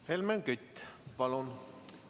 Helmen Kütt, palun!